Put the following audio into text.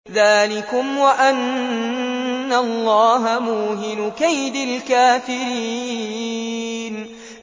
ذَٰلِكُمْ وَأَنَّ اللَّهَ مُوهِنُ كَيْدِ الْكَافِرِينَ